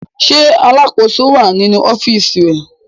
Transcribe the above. Ṣé alákòóso wà nínú ọ́fíísì rẹ̀?